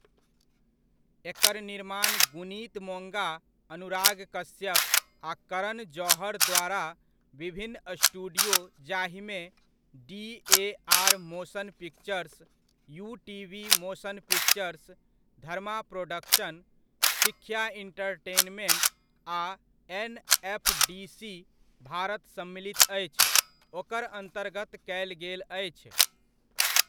एकर निर्माण गुणीत मोङ्गा, अनुराग कश्यप आ करण जौहर द्वारा विभिन्न स्टुडियो जाहिमे DAR. Motion pictures, UTV. Motion pictures, Dharma production, Sikhya entertainment आ एन.एफ.डी.सी. भारत सम्मिलित अछि, ओकर अन्तर्गत कयल गेल अछि।